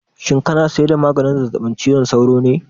Shin kana saida maganin zazzabib cizon sauro ne?